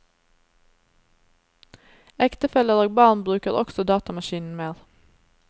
Ektefeller og barn bruker også datamaskinen mer.